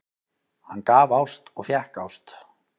Hann gaf ást og fékk ást.